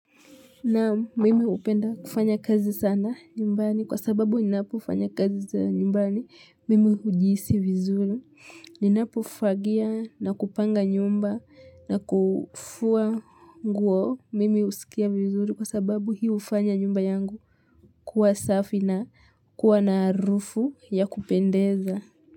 Naam mimi hupenda kufanya kazi sana nyumbani kwa sababu ninapo ufanya kazi nyumbani mimi hujiisi vizuri. Ninapo fagia na kupanga nyumba na kufua nguo mimi husikia vizuri kwa sababu hiyo hufanya nyumba yangu kuwa safi na kuwa naarufu ya kupendeza.